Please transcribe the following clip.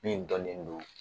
Min dɔnnen don